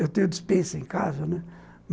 Eu tenho dispensa em casa, né.